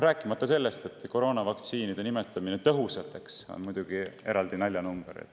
Rääkimata sellest, et koroonavaktsiinide nimetamine tõhusateks on muidugi eraldi naljanumber.